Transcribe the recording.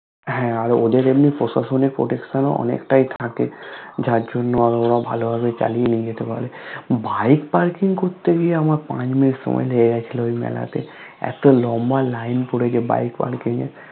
হ্যা আর ওদের জন্নই প্রশাসনএর Protection ও অনেকটাই থাকে যার জন্য আরো ওরা ভালো ভাবে চালিয়ে নিয়ে যেতে পারে Bike Parking কোরতে গিয়ে আমার পাঁচ minute সময় লেগে গেছিলো ওই মেলাতে । এতো লম্ভা line পড়েছে Bike Parking এর